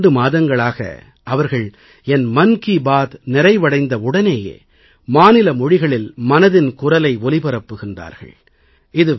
கடந்த இரண்டு மாதங்களாக அவர்கள் என் மன் கீ பாத் நிறைவடைந்த உடனேயே மாநில மொழிகளில் மனதின் குரலை ஒலிபரப்புகிறார்கள்